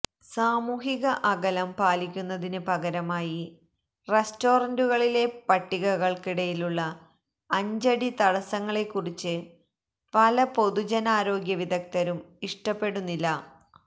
സാമൂഹിക അകലം പാലിക്കുന്നതിന് പകരമായി റെസ്റ്റോറന്റുകളിലെ പട്ടികകള്ക്കിടയിലുള്ള അഞ്ചടി തടസ്സങ്ങളെക്കുറിച്ച് പല പൊതുജനാരോഗ്യ വിദഗ്ധരും ഇഷ്ടപ്പെടുന്നില്ല